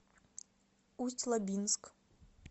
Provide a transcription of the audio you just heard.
усть лабинск